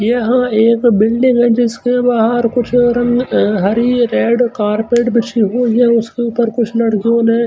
यह एक बिल्डिंग है जिसके बाहर कुछ रंग हरि रेड कारपेट बिछी हुई है उसके ऊपर कुछ लड़कियों ने--